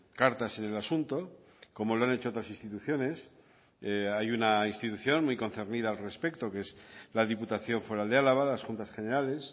cartas en el asunto como lo han hecho otras instituciones hay una institución muy concernida al respecto que es la diputación foral de álava las juntas generales